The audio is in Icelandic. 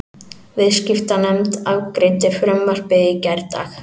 Viðskiptanefnd afgreiddi frumvarpið í gærdag